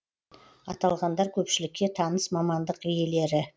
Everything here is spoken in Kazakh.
аталғандар көпшілікке таныс мамандық иелері